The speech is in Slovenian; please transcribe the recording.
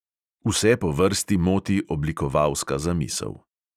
Vse po vrsti moti oblikovalska zamisel.